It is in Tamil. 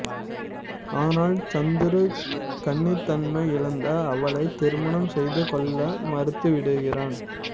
ஆனால் சந்திரூ கன்னித்தன்மை இழந்த அவளை திருமணம் செய்துகொள்ள மறுத்துவிடுகிறான்